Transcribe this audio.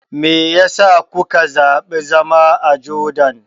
Me ya sa kuka zaɓi zama a Jordan?